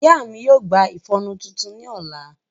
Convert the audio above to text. Iya mi yoo gba iƒọnu titun ni ọla.